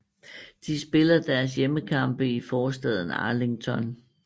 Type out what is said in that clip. De spiller deres hjemmekampe i forstaden Arlington